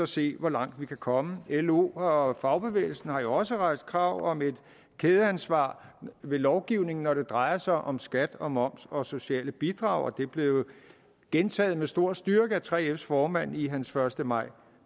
se hvor langt vi kan komme lo og fagbevægelsen har jo også rejst krav om et kædeansvar ved lovgivning når det drejer sig om skat og moms og sociale bidrag og det blev gentaget med stor styrke af 3fs formand i hans første maj